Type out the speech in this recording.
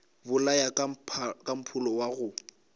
bolaya ka mpholo wa go